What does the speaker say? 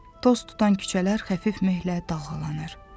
Toz tutan küçələr xəfif mehlə dalğalanır.